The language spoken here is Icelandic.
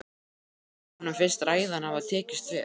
Hún veit að honum finnst ræðan hafa tekist vel.